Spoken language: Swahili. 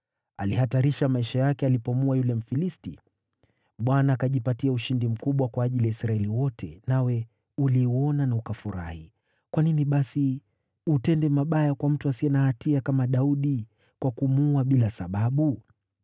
Alihatarisha maisha yake alipomuua yule Mfilisti. Bwana akajipatia ushindi mkubwa kwa ajili ya Israeli wote, nawe uliuona na ukafurahi. Kwa nini basi utende mabaya kwa mtu asiye na hatia kama Daudi kwa kumuua bila sababu?”